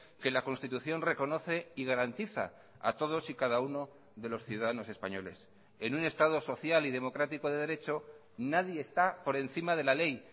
que la constitución reconoce y garantiza a todos y cada uno de los ciudadanos españoles en un estado social y democrático de derecho nadie está por encima de la ley